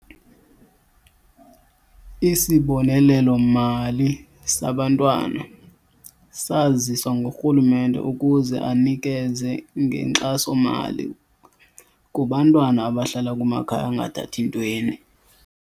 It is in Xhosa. Isibonelelo-mali sabantwana saziswa ngurhulumente ukuze anikeze ngenkxaso-mali kubantwana abahlala kumakhaya angathathintweni.